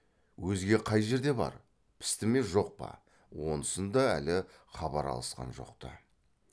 өзге қай жерде бар пісті ме жоқ па онысынан да әлі хабар алысқан жоқ ты